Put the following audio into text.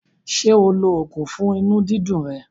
Ṣé o lo oògùn fún inú dídu rẹ̀?